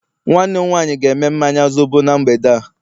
nwanne m nwanyi ga eme mmanya zobo na mgbede a